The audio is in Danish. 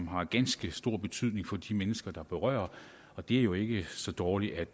har ganske stor betydning for de mennesker det berører og det er jo ikke så dårligt